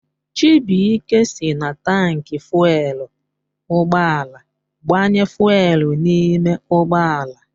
Chibuike si na taanki fuelu ụgbọala agbanye fuelu n'ime ụgbọala